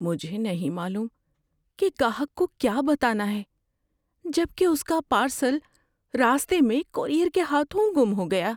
مجھے نہیں معلوم کہ گاہک کو کیا بتانا ہے جب کہ اس کا پارسل راستے میں کورئیر کے ہاتھوں گم ہو گیا۔